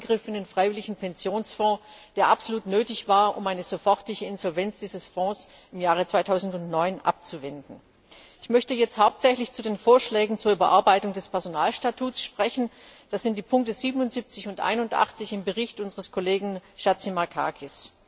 der Eingriff in den freiwilligen Pensionsfonds, der absolut nötig war, um eine sofortige Insolvenz dieses Fonds im Jahre 2009 abzuwenden. Ich möchte jetzt hauptsächlich zu den Vorschlägen zur Überarbeitung des Personalstatuts sprechen. Das sind die Ziffern 77 und 81 im Bericht unseres Kollegen Chatzimarkakis.